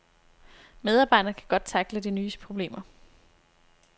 Medarbejderne kan godt tackle de nye problemer.